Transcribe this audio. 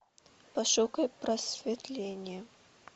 пошукай просветление